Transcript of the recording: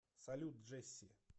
салют джесси